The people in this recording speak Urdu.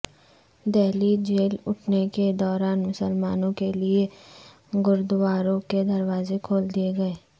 دہلی جل اٹھنے کے دوران مسلمانوں کیلئے گردواروں کے دروازے کھول دیئے گئے